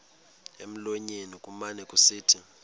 emlonyeni kumane kusithi